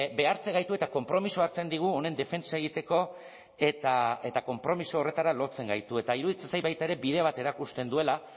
behartzen gaitu eta konpromisoa hartzen digu honen defentsa egiteko eta konpromiso horretara lotzen gaitu eta iruditzen zait baita ere bide bat erakusten duela